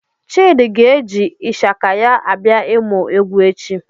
Chidi ga-eji Ịshaka ya abịa ịmụ egwu echi.